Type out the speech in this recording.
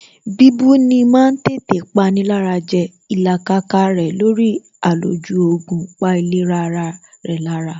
Bíbú ni ma ń tètè pani lára jẹ Ìlàkàkà rẹ̀ lórí àlòjù oògùn pa ìlera rẹ̀ lára